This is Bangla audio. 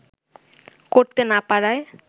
করতে না পারায়